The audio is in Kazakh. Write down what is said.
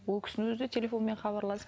ол кісінің өзі де телефонмен хабарласып